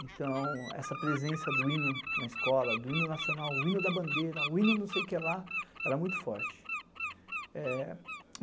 Então, essa presença do hino na escola, do hino nacional, o hino da bandeira, o hino não sei o que lá, era muito forte.